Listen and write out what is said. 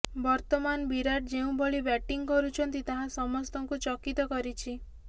ବର୍ତ୍ତମାନ ବିରାଟ୍ ଯେଉଁଭଳି ବ୍ୟାଟିଂ କରୁଛନ୍ତି ତାହା ସମସ୍ତଙ୍କୁ ଚକିତ କରିଛି